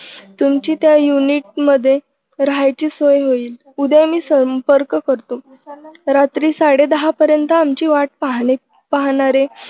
तुमची त्या unit मध्ये राहायची सोय होईल. उद्या मी संपर्क करतो रात्री सडे दहा पर्यंत आमची वाट पहाले पाहणारे